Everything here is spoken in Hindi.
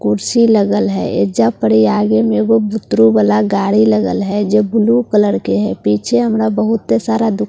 कुर्सी लगल है एइजा पड़ी आगे में एगो बुतरू वाला गाड़ी लगल है जे ब्‍लू कलर के है पीछे हमरा बहुत सारा दु --